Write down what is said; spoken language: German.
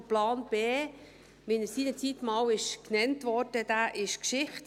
Der Plan B, wie er seinerzeit einmal genannt wurde, ist Geschichte.